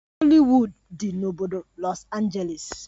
Hollywood dị n'obodo Los Angeles.